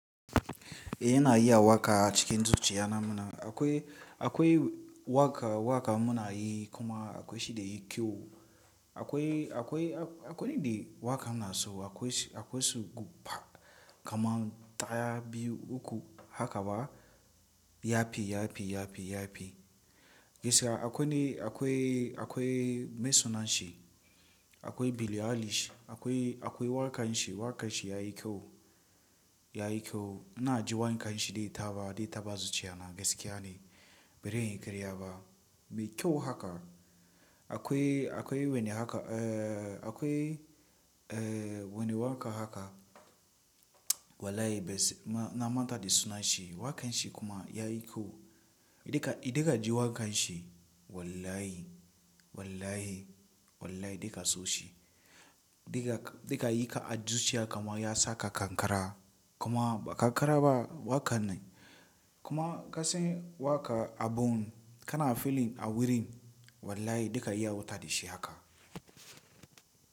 E ina iya waƙa acikin zuciya na muna. Akwai, akwai waƙa, waƙa muna yi kuma akwai shi da yi kyau. Akwai, akwai, akwai ni da waƙa muna so akwai, akwai su gufa kamar ɗaya biyu uku haka ba yafi, yafi, yafi, yafi. Gaskiya akwai ne akwai, akwai mai sunan shi, akwai bilyalish, akwai, akwai waƙan shi, waƙan shi yayi kyau, yayi kyau. Ina ji wanƙan shi dai taba, dai taba zuciya na gaskiya ne. Bazanyi ƙarya ba, mai kyau haka. Akwai, akwai wani haka eh akwai eh wani waƙa haka wallahi bai na mata da sunan shi. Waƙan shi kuma yayi kyau. Idan ka, idan ka ji waƙan shi wallahi, wallahi, wallahi duka sau shi. Duka, duka yi ka a zuciya kamar ya saka ƙanƙara kuma ƙanƙara ba waƙa ne. Kuma ka san waƙa a bun ka na feeling a wurin wallahi duka ya wuta da shi haka.